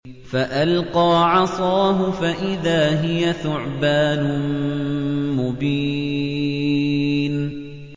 فَأَلْقَىٰ عَصَاهُ فَإِذَا هِيَ ثُعْبَانٌ مُّبِينٌ